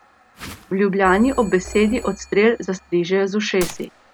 A v Ljubljani ob besedi odstrel zastrižejo z ušesi.